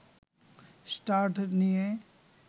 start নিয়ে